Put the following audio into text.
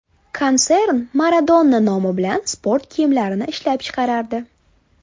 Konsern Maradona nomi bilan sport kiyimlarini ishlab chiqarardi.